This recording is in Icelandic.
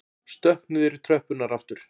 Stökk niður í tröppurnar aftur.